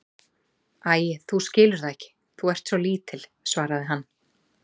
Æi, þú skilur það ekki, þú ert svo lítil, svaraði hann.